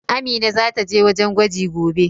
Amina zata je wajen gwaji gobe.